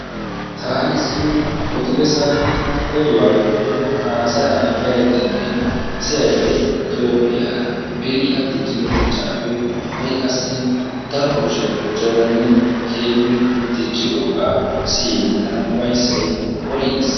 Taani zino odi bessan oduwa woykko haassayya be'ayddenne toophiya beni a diccido dichchappe ha'i qassi daro kushiyaa gujjadanne ha'i a diccidooga siyyin tana ufayssay worigiis.